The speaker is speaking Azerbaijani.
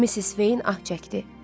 Missis Veyn ah çəkdi.